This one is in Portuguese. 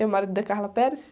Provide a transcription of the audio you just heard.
É o marido de Carla Perez?